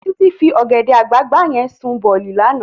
Titi fi ògèdè àgbágbá yèn sún bòlí làná